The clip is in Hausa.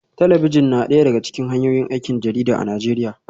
Talabijin na daya daga cikin hanyoyin aikin jarida a Najeriya